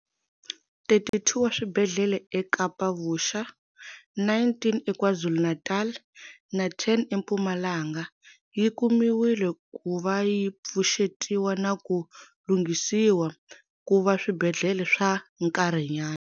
32 wa swibedhlele eKapa-Vuxa, 19 eKwazulu-Natal na 10 eMpumalanga yi kumiwile ku va yi pfuxetiwa na ku lunghisiwa ku va swibedhlele swa nkarhinyana.